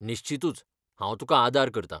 निश्चितूच! हांव तुकां आदार करतां .